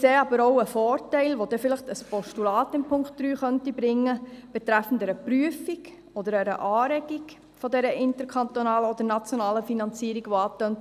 Wir sehen jedoch auch einen Vorteil, den ein Postulat im Punkt 3 bringen könnte, hinsichtlich einer Prüfung oder Anregung dieser interkantonalen oder nationalen Finanzierung, welche angetönt wurde.